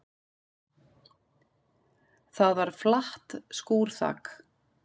Það var flatt skúrþak.